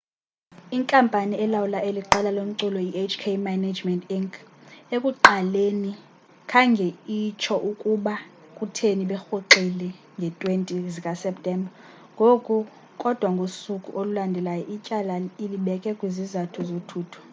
inkampani elawula eli qela lomculo ihk management inc ekuqaleni khange itsho ukuba kutheni berhoxile ngee-20 zikaseptemba kodwa ngosuku olulandelayo ityala ilibeke kwizizathu zothutho